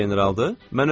Gör bir necə generaldır.